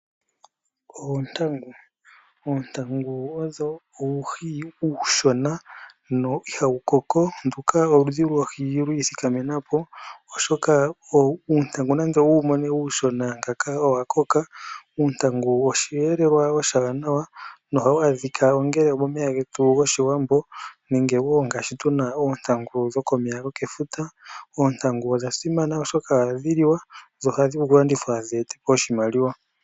Oontangu Oontangu odho uuhi uushona no ihawu koko. Nduka oludhi lwoohi lwi ithikamena po, oshoka uuntangu wu mone uushona ngaaka owa koka. Uuntangu oshee nlelwa oshiwanawa nohawu adhika ngaashi momeya gomomilonga nenge wo tu na oontangu dhokomeya gokefuta. Oontangu odha simana, oshoka ohadhi liwa dho ohadhi vulu okulandithwa dhi ete po oshimaliwa.